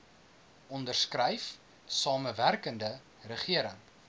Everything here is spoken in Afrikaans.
onderskryf samewerkende regering